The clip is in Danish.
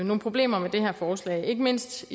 nogle problemer med det her forslag ikke mindst